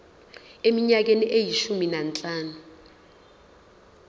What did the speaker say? eminyakeni eyishumi nanhlanu